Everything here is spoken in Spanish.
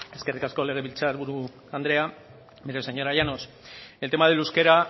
eskerrik asko legebiltzar buru andrea mire señora llanos el tema del euskera